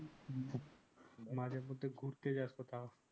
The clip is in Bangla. মাঝে মধ্যে ঘুরতে যা কোথাও